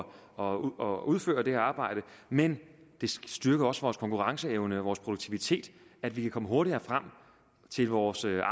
og udføre det her arbejde men det styrker også vores konkurrenceevne og vores produktivitet at vi kan komme hurtigere frem til vores